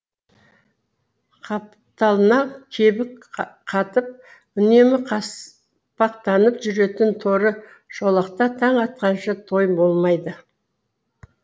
қапталына кебік қатып үнемі қаспақтанып жүретін торы шолақта таң атқанша тойым болмайды